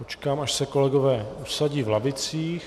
Počkám, až se kolegové usadí v lavicích.